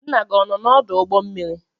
Nna gị ọ nọ n'ọdụ ụgbọ mmiri?